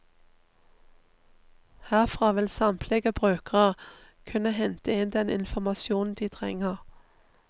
Herfra vil samtlige brukere kunne hente inn den informasjonen de trenger.